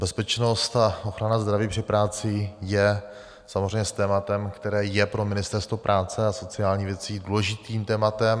Bezpečnost a ochrana zdraví při práci je samozřejmě tématem, které je pro Ministerstvo práce a sociálních věcí důležitým tématem.